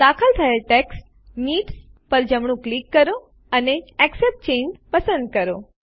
દાખલ થયેલ text needs પર જમણું ક્લિક કરો અને એક્સેપ્ટ ચાંગે પસંદ કરો